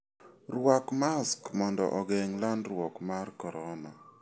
Rwak mask mondo ogeng' landruok mar corona.